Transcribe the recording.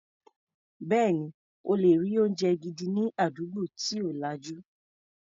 Bẹ́ẹ̀ni, o lè rí oúnjẹ gidi ní àdúgbò tí ò lajú.